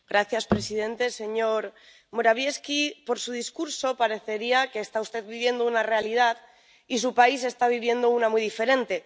Señor presidente, señor Morawiecki, por su discurso parecería que usted está viviendo una realidad y su país está viviendo una muy diferente.